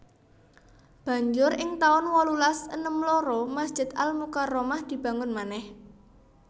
Banjur ing taun wolulas enem loro Masjid Al Mukarromah dibangun manèh